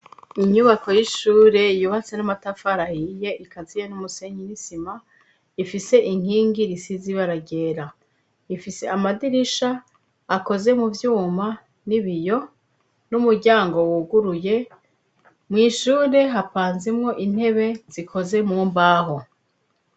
Inyubako y'ishure yubatse n'amatafari ahiye ikaziye n'umusenyi n'isima ifise inkingi zisize ibara ryera, ifise amadirisha akoze mu vyuma n'ibiyo n'umuryango wuguruye mwishure hapanzemwo intebe zikoze mu mbaho.